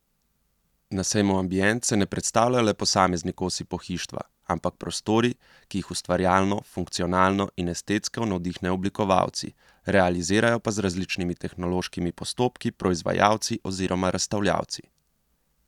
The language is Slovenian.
Na sejmu Ambient se ne predstavljajo le posamezni kosi pohištva, ampak prostori, ki jih ustvarjalno, funkcionalno in estetsko navdihnejo oblikovalci, realizirajo pa z različnimi tehnološkimi postopki proizvajalci oziroma razstavljavci.